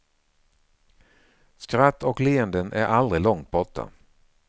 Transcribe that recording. Skratt och leenden är aldrig långt borta.